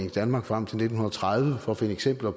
i danmark frem til nitten tredive for at finde eksempler